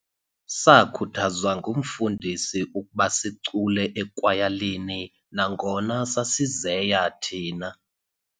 Sakhuthazwa ngumfundisi ukuba sicule ekwayalini nangona sasizeya thina.